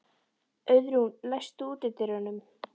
Auðrún, læstu útidyrunum.